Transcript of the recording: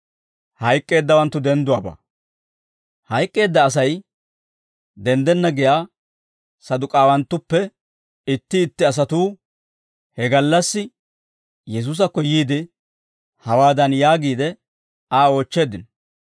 Hayk'k'eedda Asay denddenna giyaa Saduk'aawanatuwaappe itti itti asatuu he gallassi Yesuusakko yiide, hawaadan yaagiide, Aa oochcheeddino;